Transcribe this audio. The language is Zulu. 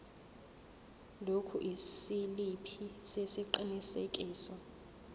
lokhu isiliphi sesiqinisekiso